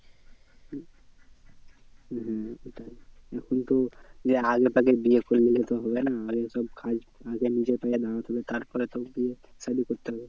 হম এখন তো যে আগে থেকে বিয়ে করে নিলে তো হবে না আগে ওসব কাজ আগে নিজের পায়ে দাঁড়াতে হবে তার পরে তো বিয়ে সাধি করতে হবে।